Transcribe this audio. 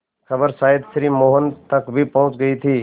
खबर शायद श्री मोहन तक भी पहुँच गई थी